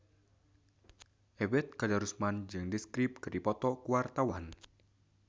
Ebet Kadarusman jeung The Script keur dipoto ku wartawan